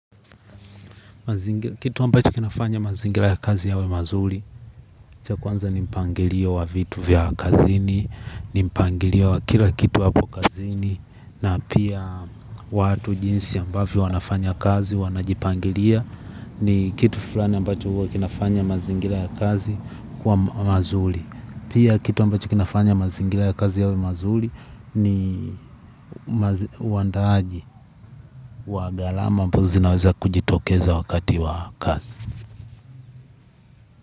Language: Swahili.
Kitu ambacho kinafanya mazingira ya kazi yawe mazuri. Cha kwanza ni mpangilio wa vitu vya kazini ni mpangilio wa kila kitu hapo kazini. Na pia watu jinsi ambavyo wanafanya kazi wanajipangilia. Ni kitu fulani ambacho huwa kinafanya mazingira ya kazi kuwa mazuri pia kitu ambacho kinafanya mazingira ya kazi yawe mazuri. Ni wandaaji wa gharama ambazo zinaweza kujitokeza wakati wa kazi.